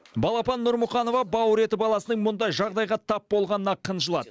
балапан нұрмұқанова бауыр еті баласының мұндай жағдайға тап болғанына қынжылады